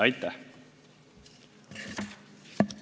Aitäh!